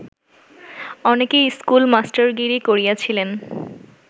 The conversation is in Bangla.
অনেকেই স্কুল-মাস্টারগিরি করিয়াছিলেন